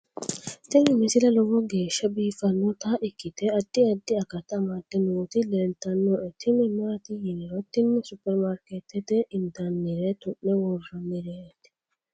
tini misile lowo geeshsha biiffannota ikkite addi addi akata amadde nooti leeltannoe tini maati yiniro tini superimaarikeetete intannire tu'ne worrannireeti